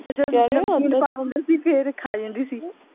ਨਮਕੀਨ ਪਾ ਦਿੰਦੇ ਸੀ ਫੇਰ ਖਾ ਲੈਂਦੀ ਸੀ